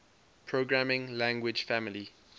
programming language family